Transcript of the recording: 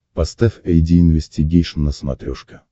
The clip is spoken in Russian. поставь айди инвестигейшн на смотрешке